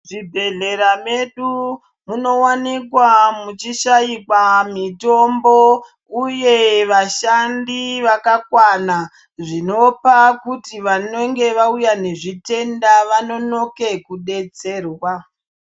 Muzvibhehlera medu munowanikwa muchishaikwa mitombo uye vashandi vakakwana. Zvinopa kuti vanenge vauya nezvitenda vanonoke kudetserwa.